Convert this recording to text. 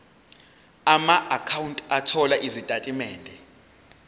amaakhawunti othola izitatimende